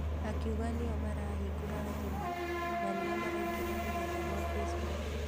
Akiuga nĩo marahingũra thimũ na nĩo maraingĩra rũrenda rwa Facebook.